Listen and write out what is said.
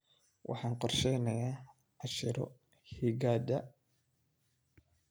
Waxaan qorsheynayaa casharro higaada.